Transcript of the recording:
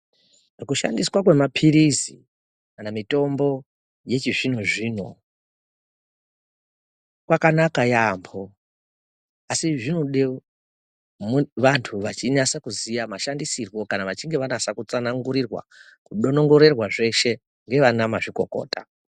Kushandiswa kwemapirizi kana mitombo yechizvinozvino kwakanaka yaambo asi zvode vantu vachinyasa kuziya mashandisirwo kana vachinge vanasa kutsanangurirwa kudonongorerwa zveshe ndaana mazvikokota.